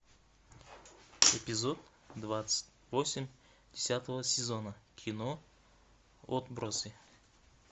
эпизод двадцать восемь десятого сезона кино отбросы